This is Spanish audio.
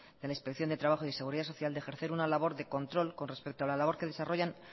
de la inspección de trabajo y de seguridad social de ejercer una labor de control con respecto a la labor que desarrollan